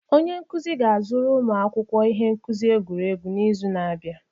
Onye nkuzi ga-azụrụ ụmụ akwụkwọ ihe nkuzi egwuregwu n'izu na-abịa.